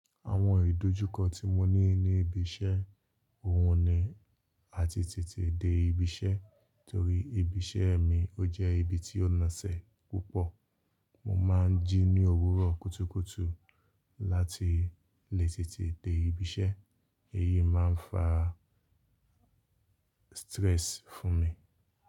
Àwọn ìdojúkọ tí mo ní ní ibi iṣẹ́, ohun ni àti tètè dé ibi iṣẹ́ torí ibi iṣẹ́ mi ó jẹ́ ibi tí ó nasẹ̀ púpọ̀. Mo máa ń jí ní òwúrọ̀ kútúkútú láti lè tètè dé ibi iṣẹ́, èyí máa ń fa stress fún mi.